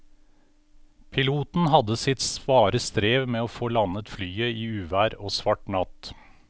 Piloten hadde sitt svare strev med å få landet flyet i uvær og svart natt.